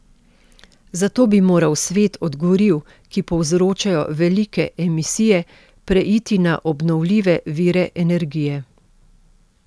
Za to bi moral svet od goriv, ki povzročajo velike emisije, preiti na obnovljive vire energije.